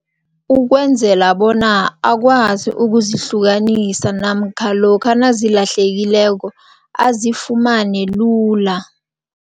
Ukwenzela bona akwazi ukuzihlukanisa namkha lokha nazilahlekileko azifumane lula.